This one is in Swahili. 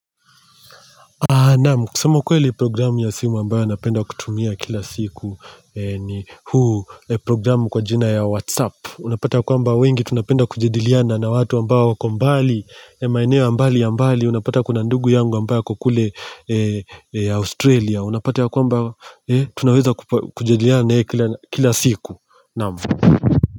Naamu, kusema ukweli programu ya simu ambayo napenda kutumia kila siku ni huu programu kwa jina ya Whatsapp. Unapata kwamba wengi, tunapenda kujadiliana na watu ambao wakombali, maeneo ya mbali ya mbali, unapata kuna ndugu yangu ambayo hako kule Australia. Unapata ya kwamba tunaweza kujediliana na yeye kila siku.